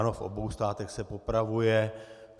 Ano, v obou státech se popravuje.